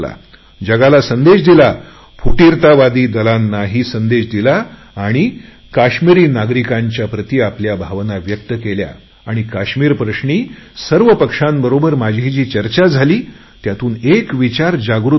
जगाला संदेश दिला फुटीरतावादी दलांनाही संदेश दिला आणि काश्मीरी नागरिकांच्या प्रति आपल्या भावना व्यक्त केल्या आणि काश्मीरप्रश्नी सर्व पक्षांबरोबर माझी जी चर्चा झाली त्यातून एक विचार जागृत होत होता